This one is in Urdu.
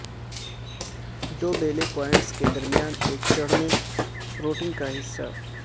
دو بیلے پوائنٹس کے درمیان ایک چڑھنے روٹنگ کا حصہ